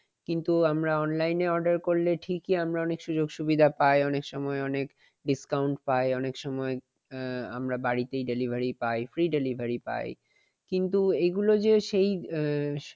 কিন্তু আমরা অনলাইনে order করলে টিকই আমরা সুযোগ সুবিধা পাই অনেক সময় অনেক discount পাই অনেক সময় আমরা বাড়িতেই delivery পাই free delivery পাই। কিন্তু এগুলো যে সেই এ